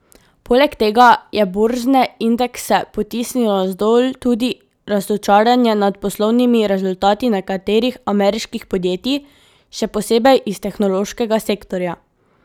Poleg tega je borzne indekse potisnilo navzdol tudi razočaranje nad poslovnimi rezultati nekaterih ameriških podjetij, še posebej iz tehnološkega sektorja.